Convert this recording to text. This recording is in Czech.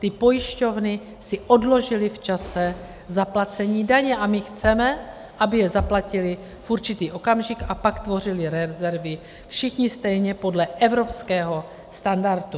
Ty pojišťovny si odložily v čase zaplacení daně a my chceme, aby je zaplatily v určitý okamžik, a pak tvořili rezervy všichni stejně podle evropského standardu.